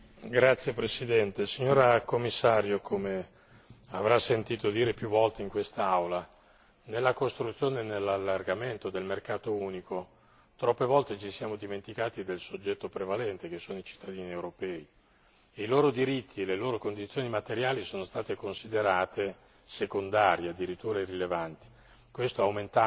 Signor Presidente, onorevoli colleghi, signora Commissario, come avrà sentito dire più volte in questa Aula nella costruzione e nell'allargamento del mercato unico, troppe volte ci siamo dimenticati del soggetto prevalente che sono i cittadini europei. I loro diritti e le loro condizioni materiali sono state considerate